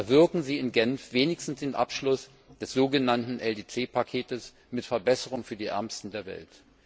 Erwirken Sie in Genf wenigstens den Abschluss des so genannten LDC Pakets mit Verbesserungen für die Ärmsten der Welt!